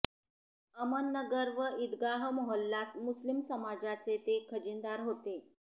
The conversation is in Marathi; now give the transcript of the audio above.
अमननगर व इदगाह मोहल्ला मुस्लिम समाजाचे ते खजिनदार होते